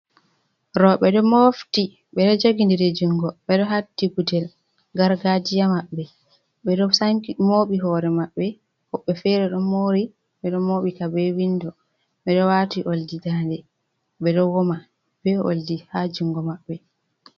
Rooɓe, ɓe ɗo mofti, ɓe ɗo jogindiri junngo ɓe ɗo haddi gudel gargaajiya maɓɓe, ɓe ɗo sanki mooɓi hoore maɓɓe woɓɓee feere ɗo moori ɓe ɗo mooɓi ka bee winndo ɓe ɗo waati oldi daande, ɓe ɗo woma bee oldi ha junngo maɓɓe.